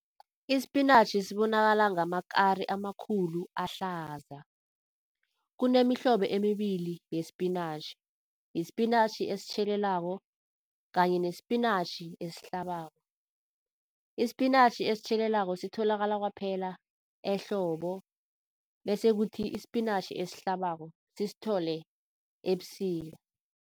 Ispinatjhi sibonakala ngamakari amakhulu ahlaza. Kunemihlobo emibili yespinatjhi. Yispinatjhi esitjhelelako kanye nespinatjhi esihlabako. Ispinatjhi esitjhelelako sitholakala kwaphela ehlobo bese kuthi ispinatjhi esihlabako sisithole ebusika.